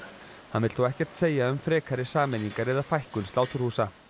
hann vill þó ekkert segja um frekari sameiningar eða fækkun sláturhúsa